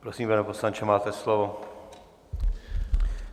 Prosím, pane poslanče, máte slovo.